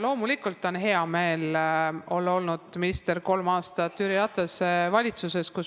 Loomulikult on hea meel olnud olla kolm aastat minister Jüri Ratase valitsuses.